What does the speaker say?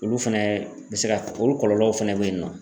Olu fɛnɛ bɛ se ka olu kɔlɔlɔw fɛnɛ bɛ yen nɔ.